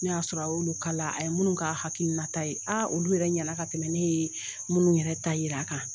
Ne y'a sɔrɔ a y'olu kala a ye minnu ka hakinata ye aa olu yɛrɛ ɲɛna ka tɛmɛ ne ye minnu yɛrɛ ta yira kan